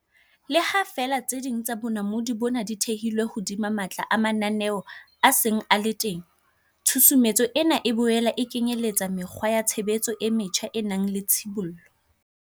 Le ha feela tse ding tsa bonamodi bona di thehilwe hodima matla a mananeo a seng a le teng, tshusumetso ena e boela e kenyeletsa mekgwa ya tshebetso e metjha e nang le tshibollo.